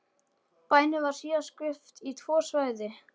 Bænum var síðan skipt í tvö svæði